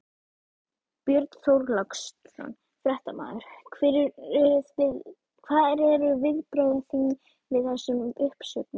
Björn Þorláksson, fréttamaður: Hver eru viðbrögð þín við þessum uppsögnum?